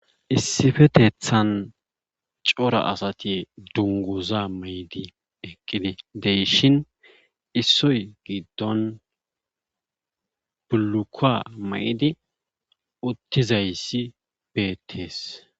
Issifetethan cora asati dungguza mayidi eqqidi de7ishin issoy giddon bullukuwa ma7idi uttizayssi beettees.